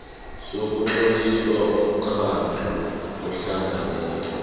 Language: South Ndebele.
sokutlolisa umkhandlu ohlangeneko